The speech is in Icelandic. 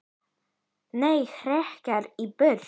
Né hrekja í burt!